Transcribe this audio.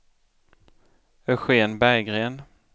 Eugen Berggren